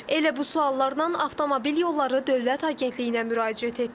Elə bu suallardan Avtomobil Yolları Dövlət Agentliyinə müraciət etdik.